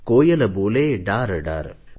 कोयल बोले डारडार